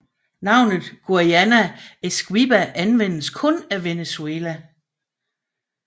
Navnet Guayana Esequiba anvendes kun af Venezuela